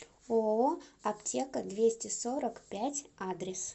ооо аптека двести сорок пять адрес